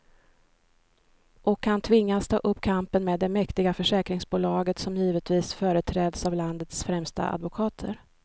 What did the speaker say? Och han tvingas ta upp kampen med det mäktiga försäkringsbolaget, som givetvis företräds av landets främsta advokater.